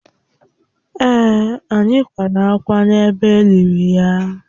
Èè, anyị kwara ákwá n’ebe e liri ya